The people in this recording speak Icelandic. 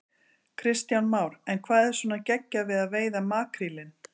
Kristján Már: En hvað er svona geggjað við að veiða makrílinn?